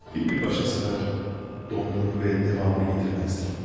Filmi başa sarar, dondurur və davamını gətirməzdim.